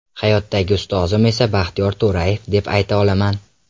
Hayotdagi ustozim esa Baxtiyor To‘rayev deb ayta olaman.